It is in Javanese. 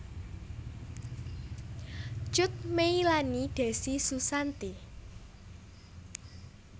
Cut Meylani Decy Susanti